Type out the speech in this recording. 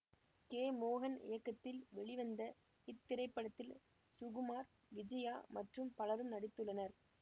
K மோகன் இயக்கத்தில் வெளிவந்த இத்திரைப்படத்தில் சுகுமார் விஜயா மற்றும் பலரும் நடித்துள்ளனர்